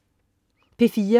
P4: